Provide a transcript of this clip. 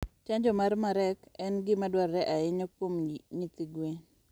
Chanjo mar Marek en gima dwarore ahinya kuom nyithi gwen.